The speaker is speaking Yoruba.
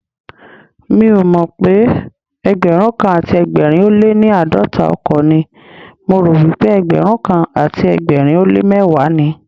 Mi ò mọ̀pé Ẹgbẹ̀rúnkan àti ẹgbẹ̀rin ó léní àádọ́ta ọkọ̀ ni, mo ròwípé ẹgbẹrunkan àti ẹgbẹ̀rin ó lé mẹ́wàá ni.